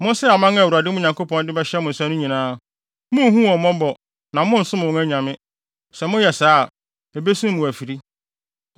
Monsɛe aman a Awurade mo Nyankopɔn de bɛhyɛ mo nsa no nyinaa. Munhu wɔn mmɔbɔ na monnsom wɔn anyame. Sɛ moyɛ saa a, ebesum mo afiri.